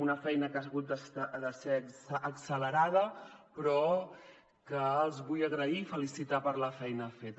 una feina que ha hagut de ser accelerada però que els la vull agrair i felicitar los per la feina feta